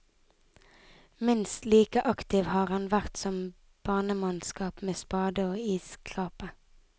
Minst like aktiv har han vært som banemannskap med spade og isskrape.